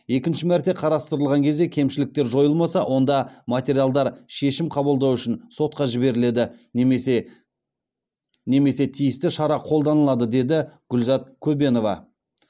екінші мәрте қарастырылған кезде кемшіліктер жойылмаса онда материалдар шешім қабылдау үшін сотқа жіберіледі немесе тиісті шара қолданылады деді гүлзат көбенова